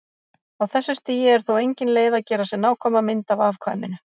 Á þessu stigi er þó engin leið að gera sér nákvæma mynd af afkvæminu.